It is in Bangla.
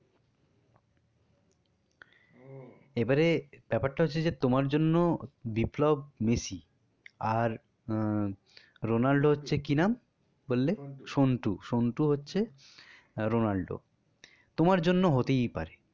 এবারে ব্যাপারটা হচ্ছে তোমার জন্য বিপ্লব মেসি আর আহ রোনাল্ডো হচ্ছে কি নাম? বললে সন্টু সন্টু হচ্ছে রোনান্ডো তোমার জন্য হতেই পারে